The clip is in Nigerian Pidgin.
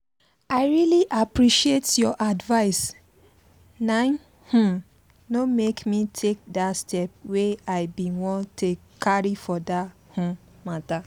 i really appreciate your advice naim um no make me take that step wey i bin wan carry for that um matter